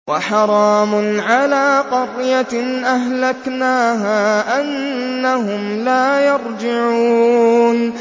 وَحَرَامٌ عَلَىٰ قَرْيَةٍ أَهْلَكْنَاهَا أَنَّهُمْ لَا يَرْجِعُونَ